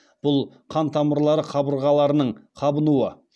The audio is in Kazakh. бұл қан тамырлары қабырғаларының қабынуы